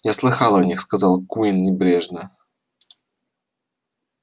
я слышал о них сказал куинн небрежно